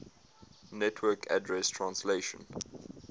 network address translation